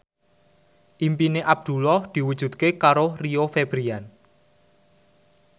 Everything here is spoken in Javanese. impine Abdullah diwujudke karo Rio Febrian